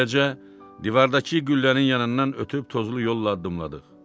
Beləcə, divardakı güllənin yanından ötüb tozlu yolla addımladıq.